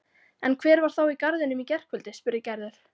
En hver var þá í garðinum í gærkvöldi? spurði Gerður.